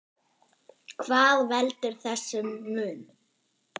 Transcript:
Hvað veldur þessum mun?